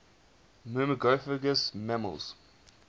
myrmecophagous mammals